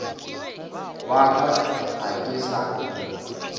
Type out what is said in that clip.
wa ka ga ke sa